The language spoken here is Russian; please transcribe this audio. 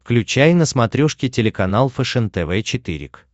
включай на смотрешке телеканал фэшен тв четыре к